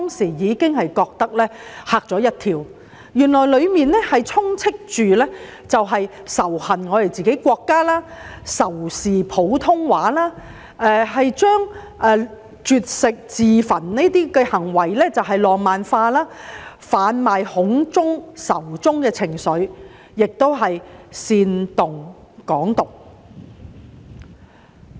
看完之後我大嚇一跳，因為戲內充斥仇恨自己國家、仇視普通話的情緒，將絕食自焚這種行為浪漫化，販賣恐中、仇中的情緒，而且煽動"港獨"。